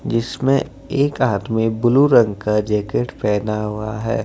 जिसमें एक आदमी ब्लू रंग का जैकेट पहना हुआ है।